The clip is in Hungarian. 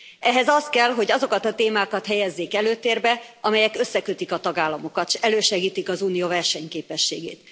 Ehhez az kell, hogy azokat a témákat helyezzék előtérbe, amelyek összekötik a tagállamokat és elősegítik az unió versenyképességét.